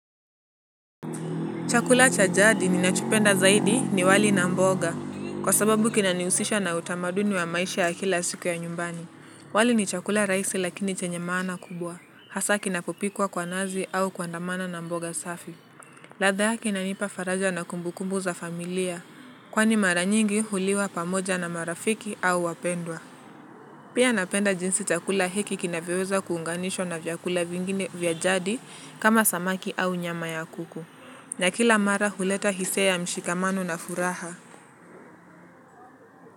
Chakula chajadi ninachopenda zaidi ni wali na mboga. Kwa sababu kinanihusisha na utamaduni wa maisha ya kila siku ya nyumbani. Wali ni chakula rahisi lakini chenye maana kubwa. Hasa kinapopikwa kwa nazi au kuandamana na mboga safi. Ladha inanipa faraja na kumbukumbu za familia. Kwani maranyingi huliwa pamoja na marafiki au wapendwa. Pia napenda jinsi chakula heki kinavyoweza kuunganishwa na vyakula vingine vya jadi kama samaki au nyama ya kuku. Na kila mara huleta hisia ya mshikamano na furaha.